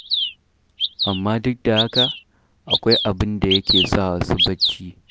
Amma duk da haka, akwai abin da yake sa wasu barci.